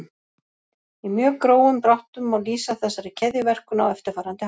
Í mjög grófum dráttum má lýsa þessari keðjuverkun á eftirfarandi hátt.